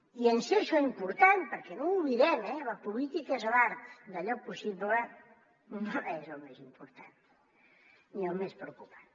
i en ser això important perquè no ho oblidem eh la política és l’art d’allò possible no és el més important ni el més preocupant